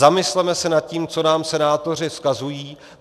Zamysleme se nad tím, co nám senátoři vzkazují.